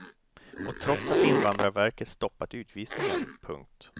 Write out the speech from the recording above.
Och trots att invandrarverket stoppat utvisningen. punkt